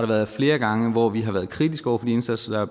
været flere gange hvor vi har været kritiske over for de indsatser